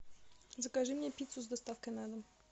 закажи мне пиццу с доставкой на дом